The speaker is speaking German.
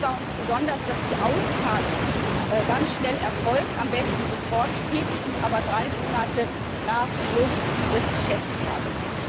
Wichtig war uns besonders, dass die Auszahlung ganz schnell erfolgt, am besten sofort, spätestens aber drei Monate nach Schluss des Geschäftsjahrs.